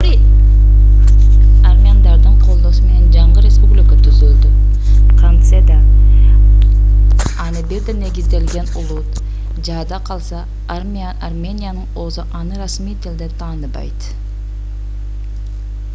армяндардын колдоосу менен жаңы республика түзүлдү кантсе да аны бир да негизделген улут жада калса армениянын өзү аны расмий тилде тааныбайт